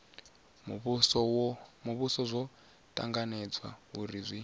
muvhuso zwo tanganywa uri zwi